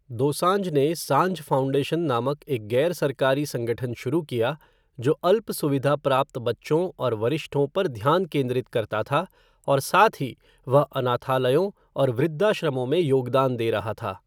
दोसांझ ने सांझ फ़ाउंडेशन नामक एक गैर सरकारी संगठन शुरू किया, जो अल्प सुविधा प्राप्त बच्चों और वरिष्ठों पर ध्यान केंद्रित था, और साथ ही वह अनाथालयों और वृद्धाश्रमों में योगदान दे रहा था।